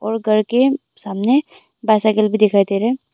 और घर के सामने बाइसाइकल भी दिखाई दे रहा है।